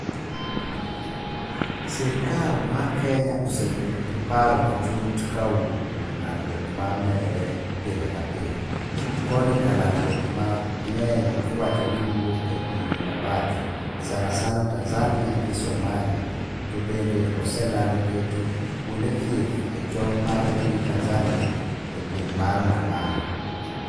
Sirikal mar Kenya osebedo g paro matut ka owuok kuom landruok ma medore pile kapile, koni ka landruok ma ng'enya i wacho ni wouk e pinje ma bathe, sana sana Tanzania gi Somali, to bende oselando keto kuonde thieth e tong' mare gi Tanzania e gweng' mar Namanga